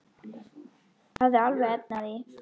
Hafði alveg efni á því.